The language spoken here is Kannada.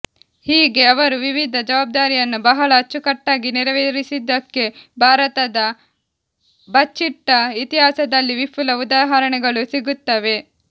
ಹೀಗೆ ಅವರು ವಿವಿಧ ಜವಾಬ್ದಾರಿಯನ್ನು ಬಹಳ ಅಚ್ಚುಕಟ್ಟಾಗಿ ನೆರವೇರಿಸಿದ್ದಕ್ಕೆ ಭಾರತದ ಬಚ್ಚಿಟ್ಟ ಇತಿಹಾಸದಲ್ಲಿ ವಿಪುಲ ಉದಾಹರಣೆಗಳು ಸಿಗುತ್ತವೆ